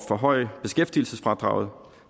forhøje beskæftigelsesfradraget